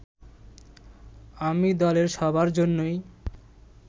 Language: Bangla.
আমি দলের সবার জন্যই